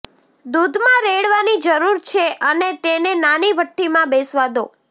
દૂધમાં રેડવાની જરૂર છે અને તેને નાની ભઠ્ઠીમાં બેસવા દો